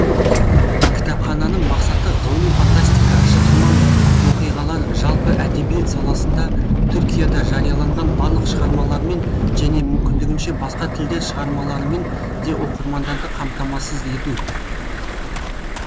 кітапхананың мақсаты ғылыми фантастика шытырман оқиғалар жалпы әдебиет саласында түркияда жарияланған барлық шығармалармен және мүмкіндігінше басқа тілдер шығармаларымен де оқырмандарды қамтамасыз ету